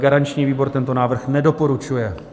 Garanční výbor tento návrh nedoporučuje.